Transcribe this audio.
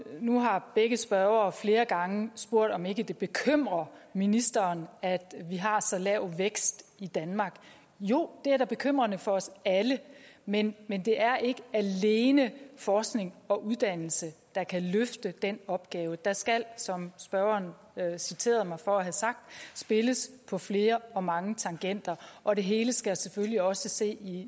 nu har begge spørgere flere gange spurgt om ikke det bekymrer ministeren at vi har så lav en vækst i danmark jo det er da bekymrende for os alle men men det er ikke alene forskning og uddannelse der kan løfte den opgave der skal som spørgeren citerede mig for at have sagt spilles på flere og mange tangenter og det hele skal selvfølgelig også ses i